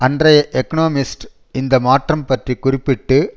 அன்றைய எக்கோனமிஸ்ட் இந்த மாற்றம் பற்றி குறிப்பிட்டு